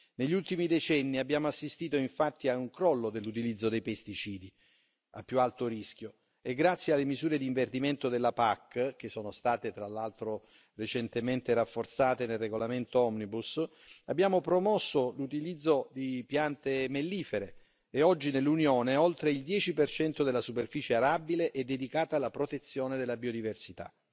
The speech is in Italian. Negli ultimi decenni abbiamo assistito infatti a un crollo nell'utilizzo dei pesticidi a più alto rischio, e grazie alle misure di inverdimento della PAC, che sono state, tra l'altro, recentemente rafforzate nel regolamento Omnibus, abbiamo promosso l'utilizzo di piante mellifere e oggi nell'Unione oltre il 10 della superficie arabile è dedicata alla protezione della biodiversità.